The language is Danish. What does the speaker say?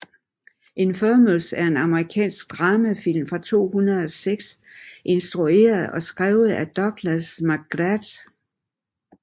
Infamous er en amerikansk dramafilm fra 2006 instrueret og skrevet af Douglas McGrath